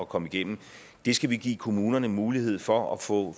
komme igennem det skal vi give kommunerne mulighed for at få